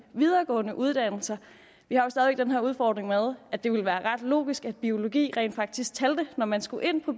videregående uddannelser vi har jo stadig den her udfordring med at det ville være ret logisk at biologi rent faktisk talte når man skulle ind på